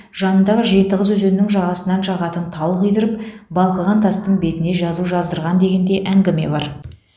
жанындағы жеті қыз өзенінің жағасынан жағатын тал қидырып балқыған тастың бетіне жазу жаздырған деген де әңгіме бар